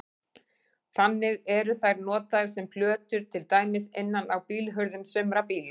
Þannig eru þær notaðar sem plötur til dæmis innan á bílhurðum sumra bíla.